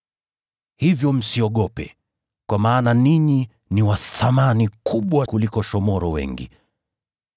Hivyo msiogope; kwa maana ninyi ni wa thamani kubwa kuliko shomoro wengi.